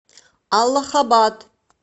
аллахабад